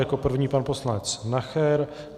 Jako první pan poslanec Nacher.